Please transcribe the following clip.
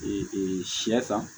sɛ ta